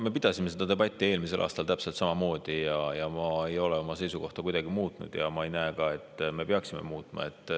Me pidasime seda debatti eelmisel aastal täpselt samamoodi ja ma ei ole oma seisukohta kuidagi muutnud ja ma ei näe ka põhjust, et seda tuleks muuta.